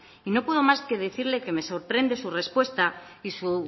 y no puedo más que decirle que me sorprende su respuesta y su